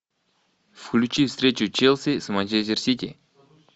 включи встречу челси с манчестер сити